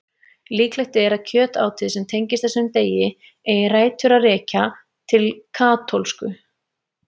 Líklegt er að kjötátið sem tengist þessum degi eigi rætur að rekja til katólsku.